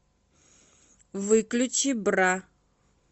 выключи бра